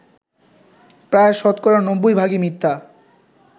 প্রায় শতকরা ৯০ ভাগই মিথ্যা